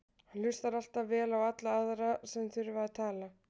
Hann hlustar alltaf vel á alla aðra sem þurfa að tala.